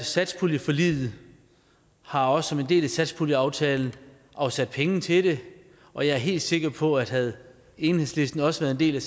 satspuljeforliget har også som en del af satspuljeaftalen afsat penge til det og jeg er helt sikker på at havde enhedslisten også været en del af